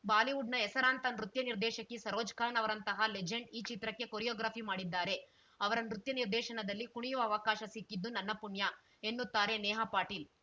ಬಾಲಿವುಡ್‌ನ ಹೆಸರಾಂತ ನೃತ್ಯ ನಿರ್ದೇಶಕಿ ಸರೋಜ್‌ಖಾನ್‌ ಅವರಂತಹ ಲೆಜೆಂಡ್‌ ಈ ಚಿತ್ರಕ್ಕೆ ಕೊರಿಯೋಗ್ರಫಿ ಮಾಡಿದ್ದಾರೆ ಅವರ ನೃತ್ಯ ನಿರ್ದೇಶನದಲ್ಲಿ ಕುಣಿಯುವ ಅವಕಾಶ ಸಿಕ್ಕಿದ್ದು ನನ್ನ ಪುಣ್ಯ ಎನ್ನುತ್ತಾರೆ ನೇಹಾ ಪಾಟೀಲ್‌